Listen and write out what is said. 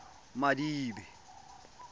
madibe